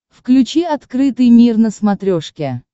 включи открытый мир на смотрешке